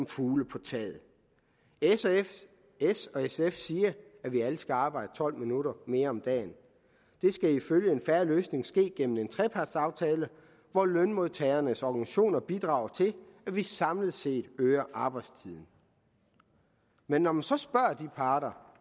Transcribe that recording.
fugle på taget s og sf siger at vi alle skal arbejde tolv minutter mere om dagen det skal ifølge en fair løsning ske gennem en trepartsaftale hvor lønmodtagernes organisationer bidrager til at vi samlet set øger arbejdstiden men når man så spørger de parter